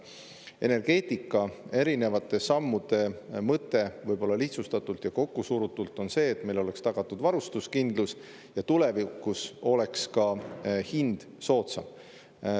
Energeetikas on erinevate sammude mõte – lihtsustatult ja kokkusurutult – see, et meil oleks tagatud varustuskindlus ja tulevikus oleks ka hind soodsam.